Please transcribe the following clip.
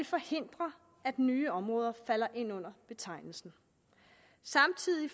forhindre at nye områder falder ind under betegnelsen samtidig